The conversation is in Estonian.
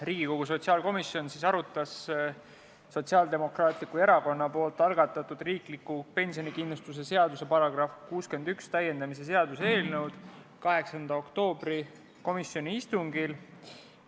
Riigikogu sotsiaalkomisjon arutas Sotsiaaldemokraatliku Erakonna algatatud riikliku pensionikindlustuse seaduse § 61 täiendamise seaduse eelnõu 8. oktoobri istungil.